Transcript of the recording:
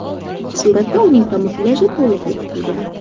Suratda uning kamuflyaji to‘liq bekitilgan.